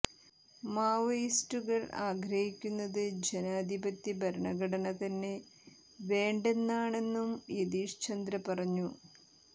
മാവോയിസ്റ്റുകൾ ആഗ്രഹിക്കുന്നത് ജനാധിപത്യ ഭരണഘടന തന്നെ വേണ്ടെന്നാണെന്നും യതീഷ് ചന്ദ്ര പറഞ്ഞു